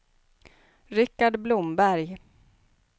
Rikard Blomberg